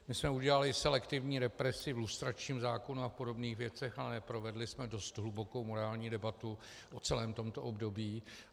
My jsme udělali selektivní represi v lustračním zákonu a podobných věcech, ale neprovedli jsme dost hlubokou morální debatu o celém tomto období.